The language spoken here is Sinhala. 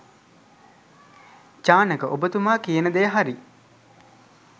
චානක ඔබතුමා කියන දෙය හරි.